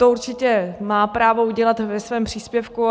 To určitě má právo udělat ve svém příspěvku.